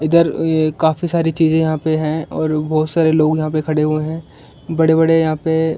इधर ये काफी सारी चीजे यहा पे है और बहुत सारे लोग यहा पे खड़े हुए है बड़े बड़े यहा पे --